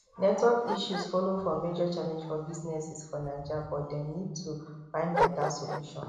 network issues follow for major challenge for businesses for naija but dem need to find beta solution